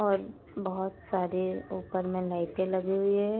और बहुत सारी ऊपर में लाइटें लगी हुई है।